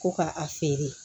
Ko ka a feere